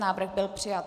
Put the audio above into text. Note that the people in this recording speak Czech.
Návrh byl přijat.